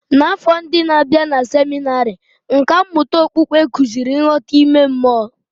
N'afọ ndi n'abia na seminarị, nkà mmụta okpukpe kụziri nghọta ime mmụọ.